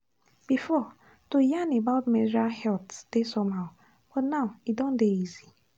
before to yarn about menstrual health dey somehow but now e don dey easy.